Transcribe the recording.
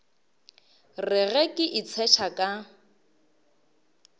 re ge ke itshetšha ka